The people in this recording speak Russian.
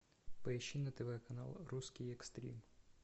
поищи на тв канал русский экстрим